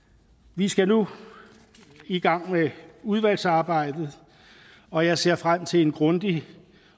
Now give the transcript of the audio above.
vi skal nu i gang med udvalgsarbejdet og jeg ser frem til en grundig